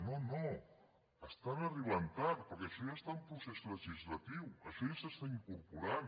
no no estan arribant tard perquè això ja està en procés legislatiu això ja s’està incorporant